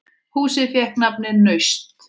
Húsið fékk nafnið Naust.